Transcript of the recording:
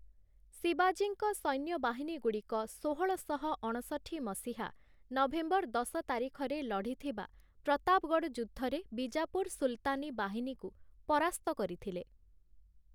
ଶିବାଜୀଙ୍କ ସୈନ୍ୟବାହିନୀଗୁଡ଼ିକ ଷୋହଳଶହ ଅଣଷଠି ମସିହା ନଭେମ୍ବର ଦଶ ତାରିଖରେ ଲଢ଼ିଥିବା ପ୍ରତାପଗଡ଼଼ ଯୁଦ୍ଧରେ ବିଜାପୁର ସୁଲତାନି ବାହିନୀକୁ ପରାସ୍ତ କରିଥିଲେ ।